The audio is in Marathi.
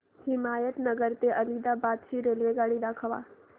हिमायतनगर ते आदिलाबाद ची रेल्वेगाडी दाखवा